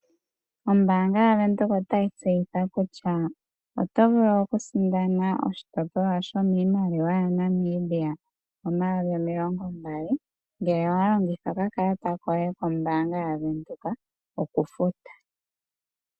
Ombaanga yavenduka otayi tseyitha kutya oto vulu okusindana oshitopolwa shomiimaliwa yaNamibia, omayovi omilongo mbali, ngele owalongitha okakalata koye kombaanga yavenduka, okufuta.